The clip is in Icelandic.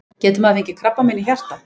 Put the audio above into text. Getur maður fengið krabbamein í hjartað?